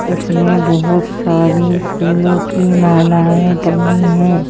इसमें बहुत सारी फूलों की मालाएं टंगी हैं।